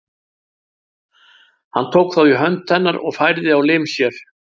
Hann tók þá í hönd hennar og færði á lim sér.